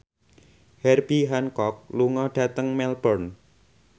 Herbie Hancock lunga dhateng Melbourne